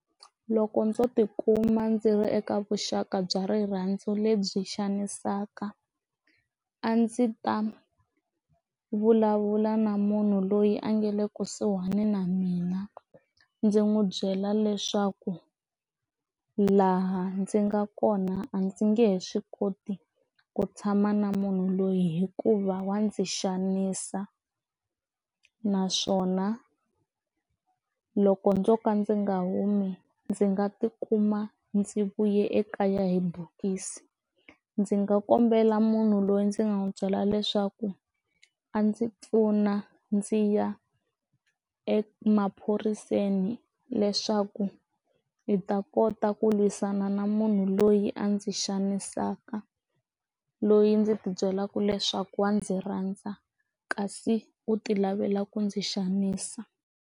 Loko ndzo tikuma ndzi ri eka vuxaka bya rirhandzu lebyi xanisaka a ndzi ta vulavula na munhu loyi a nga le kusuhana na mina ndzi n'wi byela leswaku laha ndzi nga kona a ndzi nge he swi koti ku tshama na munhu loyi hikuva wa ndzi xanisa naswona loko ndzo ka ndzi nga humi ndzi nga tikuma ndzi vuye ekaya hi bokisi ndzi nga kombela munhu loyi ndzi nga n'wi byela leswaku a ndzi pfuna ndzi ya emaphoriseni leswaku hi ta kota ku lwisana na munhu loyi a ndzi xanisaka loyi ndzi ti byelaka leswaku a ndzi rhandza kasi u ti lavela ku ndzi xanisa.